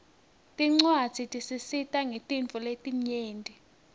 tincuadzi tisisita ngetintfo letinyenti